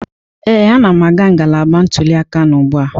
Ee, anam aga ngalaba ntuli aka m ugbu a.